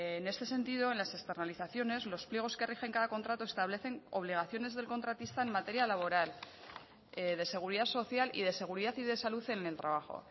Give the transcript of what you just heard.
en este sentido en las externalizaciones los pliegos que rigen cada contrato establecen obligaciones del contratista en materia laboral de seguridad social y de seguridad y de salud en el trabajo